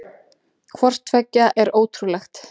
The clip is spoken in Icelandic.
Hvort tveggja er ótrúlegt.